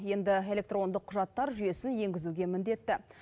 енді электрондық құжаттар жүйесін енгізуге міндетті